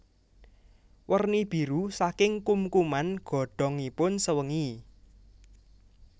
Werni biru saking kumkuman godhongipun sewengi